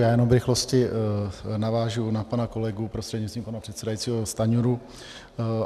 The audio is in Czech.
Já jenom v rychlosti navážu na pana kolegu, prostřednictvím pana předsedajícího, Stanjuru.